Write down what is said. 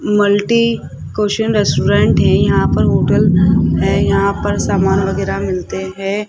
Multi question restaurant है यहां पर होटल है यहां पर सामान वगैरा मिलते हैं।